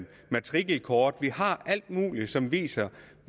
matrikelkort vi har alt muligt som viser